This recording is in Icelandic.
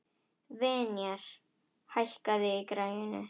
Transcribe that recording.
Vinjar, hækkaðu í græjunum.